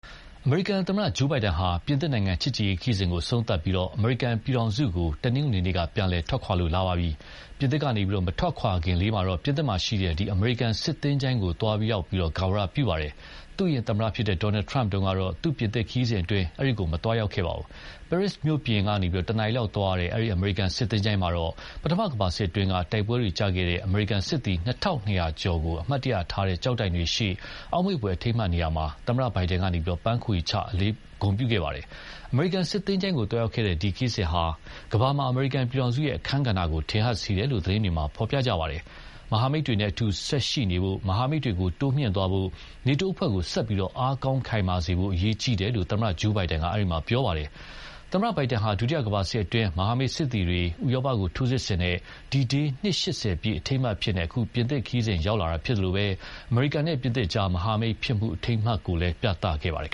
အမေရိကန်သမ္မတ Joe Biden ဟာ ပြင်သစ်နိုင်ငံချစ်ကြည်ရေးခရီးစဉ်အဆုံးသတ်ပြီး အမေရိကန်ပြည်ထောင်စုကို တနင်္ဂနွေနေ့က ပြန်လည်ထွက်ခွာလာပါပြီ။ ပြင်သစ်ကနေ မထွက်ခွာခင်လေးမှာတော့ ပြင်သစ်မှာရှိတဲ့ Aisne-Marne အမေရိကန်စစ်သင်္ချိုင်းကို သွားရောက် ဂါရဝပြုပါတယ်။ သူ့အရင် သမ္မတ Donal Trump တုန်းကတော့ သူ့ပြင်သစ်ခရီးစဉ်အတွင်း အဲဒီကို မသွားရောက်ပါဘူး။ ပဲရစ်မြို့ပြင် တနာရီလောက်သွားရတဲ့ အဲဒီ အမေရိကန်စစ်သင်္ချိုင်းမှာတော့ ပထမကမ္ဘာစစ်အတွင်းက တိုက်ပွဲကျခဲ့တဲ့ အမေရိကန်စစ်သည် နှစ်ထောင်နှစ်ရာ (၂,၂၀၀) ကျော်ကို အမှတ်တရထားတဲ့ ကျောက်တိုင်တွေရှေ့ အောက်မေ့ဖွယ်အထိမ်းအမှတ်နေရာမှာ သမ္မတဘိုင်ဒန်က ပန်းခွေချ ဂုဏ်ပြုခဲ့ပါတယ်။ အမေရိကန်စစ်သင်္ချိုင်းကိုသွားရောက်တဲ့ ဒီခရီးစဉ်ဟာ ကမ္ဘာမှာ အမေရိကန်ပြည်ထောင်စုရဲ့အခန်းကဏ္ဍကို ထင်ဟပ်စေတယ်လို့ သတင်းတွေမှာ ဖော်ပြကြပါတယ်။ မဟာမိတ်တွေနဲ့အတူ ဆက်ရှိနေဖို့၊ မဟာမိတ်တွေကိုတိုးမြှင့်သွားဖို့ NATO အဖွဲ့ကို ဆက်ပြီး အားကောင်းခိုင်မာစေဖို့ အရေးကြီးတယ်လို့ သမ္မတ Joe Biden က ပြောခဲ့ပါတယ်။ သမ္မတ Biden ဟာ ဒုတိယကမ္ဘာစစ်အတွင်း ဥရောပကို လွတ်မြောက်စေခဲ့တဲ့ D-Day နှစ် ၈၀ ပြည့် အထိမ်းအမှတ်အဖြစ် အခု ပြင်သစ်ခရီးစဉ်လာရောက်တာဖြစ်သလို အမေရိကန်နဲ့ ပြင်သစ်ကြား မဟာမိတ်ဖြစ်မှု အထိမ်းအမှတ်ကိုလည်း ပြသခဲ့ပါတယ်